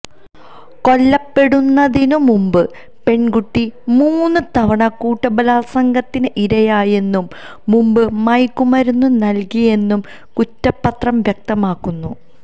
കൊല്ലപ്പെടുന്നതിനു മുമ്പ് പെണ്കുട്ടി മൂന്നു തവണ കൂട്ടബലാത്സംഗത്തിന് ഇരയായെന്നും മുമ്പ് മയക്കുമരുന്ന് നല്കിയെന്നും കുറ്റപത്രം വ്യക്തമാക്കുന്നു